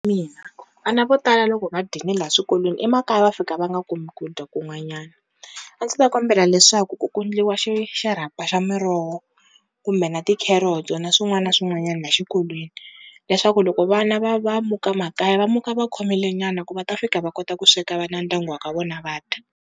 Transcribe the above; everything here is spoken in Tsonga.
vana vo tala loko va dyini la swikolweni emakaya va fika va nga kumi ku dya kun'wanyana, a ndzi ta kombela leswaku ku endliwa xi xirhapa xa miroho kumbe na ti-carrots-o na swin'wana na swin'wanyani la xikolweni leswaku loko vana va va muka makaya va muka va khomile nyana ku va ta fika va kota ku sweka va na ndyangu wa ka vona va dya.